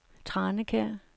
Tranekær